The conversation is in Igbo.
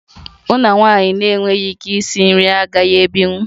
M na nwaanyị na-enweghị ike isi nri agaghị ebinwu